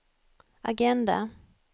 agenda